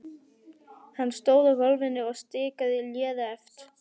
Hann stóð á gólfinu og stikaði léreft.